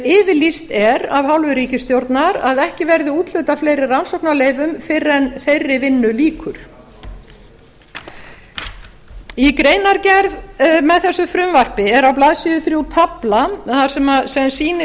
yfirlýst er af hálfu ríkisstjórnar að ekki verði úthlutað fleiri rannsóknarleyfum fyrr en þeirri vinnu lýkur í greinargerð með þessu frumvarpi er á blaðsíðu þrjú taflan sem sýnir